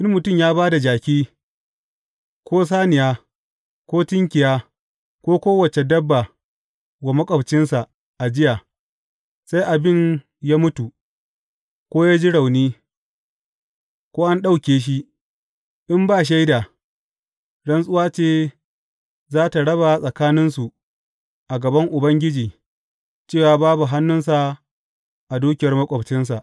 In mutum ya ba da jaki, ko saniya, ko tunkiya, ko kowace dabba wa maƙwabcinsa ajiya, sai abin ya mutu, ko ya ji rauni, ko an ɗauke shi, in ba shaida, rantsuwa ce za tă raba tsakaninsu a gaban Ubangiji cewa babu hannunsa a dukiyar maƙwabcinsa.